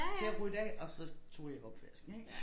Til at rydde af og så tog jeg opvasken ik